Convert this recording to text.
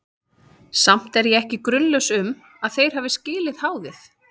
Samt er ég ekki grunlaus um, að þeir hafi skilið háðið.